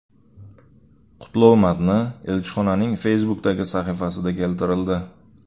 Qutlov matni elchixonaning Facebook’dagi sahifasida keltirildi .